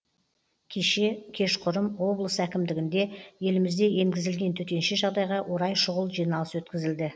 кеше кешқұрым облыс әкімдігінде елімізде енгізілген төтенше жағдайға орай шұғыл жиналыс өткізілді